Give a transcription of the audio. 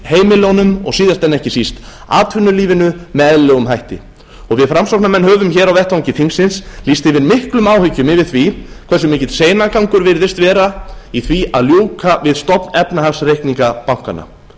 heimilunum og síðast en ekki síst atvinnulífinu með eðlilegum hætti við framsóknarmenn höfum hér á vettvangi þingsins lýst yfir miklum áhyggjum yfir því hversu mikill seinagangur virðist vera í því að ljúka við stofnefnahagsreikninga bankanna